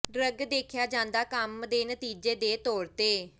drug ਦੇਖਿਆ ਜ਼ਿਆਦਾ ਕੰਮ ਦੇ ਨਤੀਜੇ ਦੇ ਤੌਰ ਤੇ